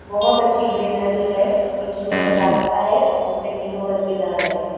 बहुत अच्छी ग्रीनरी है बीच में एक रास्ता है जिस पे तीनों बच्चे जा रहे हैं।